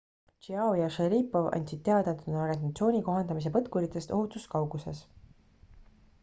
chiao ja sharipov andsid teada et on orientatsiooni kohandamise põtkuritest ohutus kauguses